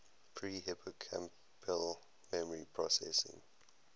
pre hippocampal memory processing